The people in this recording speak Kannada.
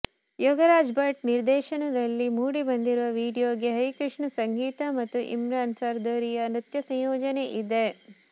ಯೋಗರಾಜ್ಭಟ್ ನಿರ್ದೇಶನಕದಲ್ಲಿ ಮೂಡಿಬಂದಿರುವ ವಿಡಿಯೊಗೆ ಹರಿಕೃಷ್ಣ ಸಂಗೀತ ಮತ್ತು ಇಮ್ರಾನ್ ಸರ್ದಾರಿಯಾ ನೃತ್ ಸಂಯೋಜನೆ ಇದೆ